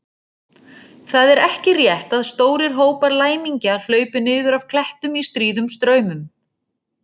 Það er ekki rétt að stórir hópar læmingja hlaupi niður af klettum í stríðum straumum.